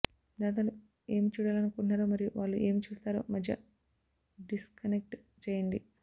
దాతలు ఏమి చూడాలనుకుంటున్నారో మరియు వాళ్ళు ఏమి చూస్తారో మధ్య డిస్కనెక్ట్ చేయండి